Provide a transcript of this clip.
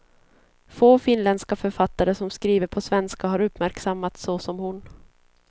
Få finländska författare som skriver på svenska har uppmärksammats så som hon.